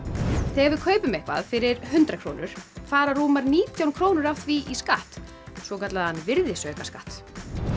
þegar við kaupum eitthvað fyrir hundrað krónur fara rúmar nítján krónur af því í skatt svokallaðan virðisaukaskatt